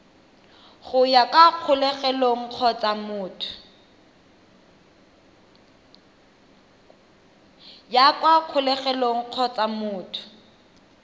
ya kwa kgolegelong kgotsa motho